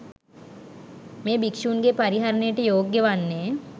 මෙය භික්ෂූන්ගේ පරිහරණයට යෝග්‍ය වන්නේ